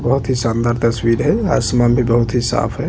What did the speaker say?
बहुत ही शानदार तस्वीर है आसमान भी बहुत ही साफ है।